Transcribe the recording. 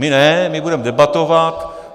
My ne, my budeme debatovat.